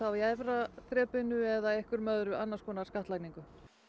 í efra þrepinu eða annars konar skattlagningu